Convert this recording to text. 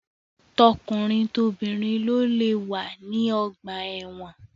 Tọkunrin tobìnrin lo lé wà ní ọgbà ẹ̀wọ́n.